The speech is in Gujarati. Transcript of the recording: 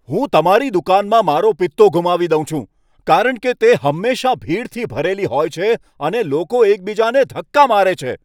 હું તમારી દુકાનમાં મારો પિત્તો ગુમાવી દઉં છું, કારણ કે તે હંમેશાં ભીડથી ભરેલી હોય છે અને લોકો એકબીજાને ધક્કા મારે છે.